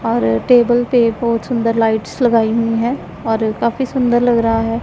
और टेबल पे बहुत सुंदर लाइट्स लगाई हुई हैं और काफी सुंदर लग रहा है।